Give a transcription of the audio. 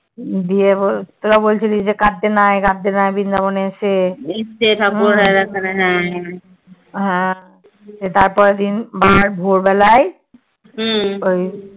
দিয়ে তোরা বলছিলি কাদঁতে নাই কাদঁতে নাই বৃন্দাবনে এসে হ্যাঁ সে তাপরের দিন ভোরবেলায় ওই